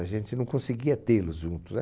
A gente não conseguia tê-los juntos, né?